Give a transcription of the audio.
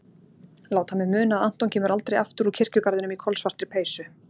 Láta mig muna að Anton kemur aldrei aftur úr kirkjugarðinum í kolsvartri peysu.